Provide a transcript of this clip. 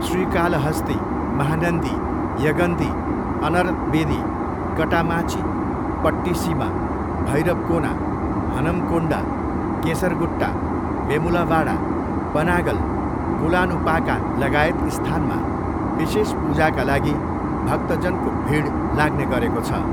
श्रीकालहस्ती, महानन्दी, यगन्ती, अन्र्तवेदी, कटामाँची, पट्टिसिमा, भैरवकोना, हनमकोन्डा, केसरगुट्टा, वेमुलावाडा, पनागल, कोलानुपाकालगायत स्थानमा विशेष पूजाका लागि भक्तजनको भिड लाग्ने गरेको छ।